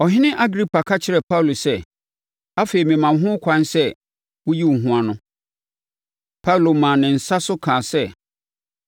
Ɔhene Agripa ka kyerɛɛ Paulo sɛ, “Afei, mema wo ho ɛkwan sɛ woyi wo ho ano.” Paulo maa ne nsa so kasaa sɛ,